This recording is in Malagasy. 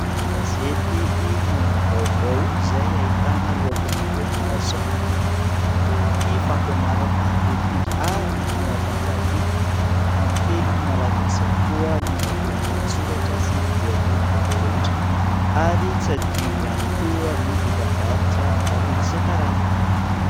Gazety, "Inona no vaovao ?", izay ahitana lohatenim-baovao maro samihafa toy ny fampianarana politika, ary ny fanatanjahantena. Amin'ny teny malagasy avokoa ny matoan-dahatsoratra sy ny lohatenim-baovao rehetra ; ary tsy adino ihany koa ny dokambarotra maro isan-karazany.